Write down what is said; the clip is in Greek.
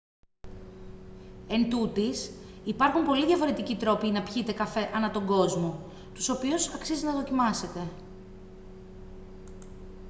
εντούτοις υπάρχουν πολλοί διαφορετικοί τρόποι να πιείτε καφέ ανά τον κόσμο τους οποίους αξίζει να δοκιμάσετε